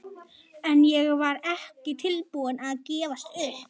En ég var ekki tilbúin að gefast upp.